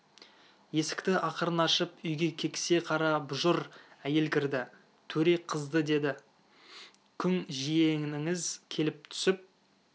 есікті ақырын ашып үйге кексе қара бұжыр әйел кірді төре қызы деді күң жиеніңіз келіп түсіп